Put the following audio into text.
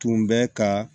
Tun bɛ ka